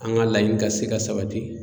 An ka laɲini ka se ka sabati.